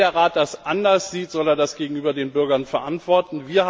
Wenn der Rat das anders sieht, soll er das gegenüber den Bürgern verantworten.